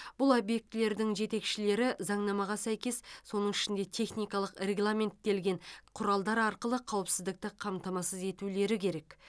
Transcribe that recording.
бұл объектілердің жетекшілері заңнамаға сәйкес соның ішінде техникалық регламенттелген құралдар арқылы қауіпсіздікті қамтамасыз етулері керек